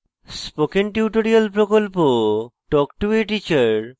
spoken tutorial প্রকল্প talk to a teacher প্রকল্পের অংশবিশেষ